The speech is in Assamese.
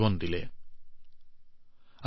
অন্বীয়ে যোগাভ্যাস কৰি জীৱনক আত্মসচেতন কৰি তুলিছিল